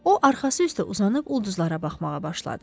O arxası üstə uzanıb ulduzlara baxmağa başladı.